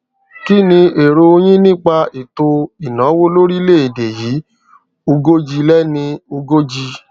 kí ni èrò yín nípa ètò ìnáwó lórílẹ-èdè yìí ugoji lenín ugoji